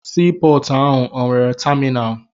Sii pọọtụ ahụ o nwere taminalụ?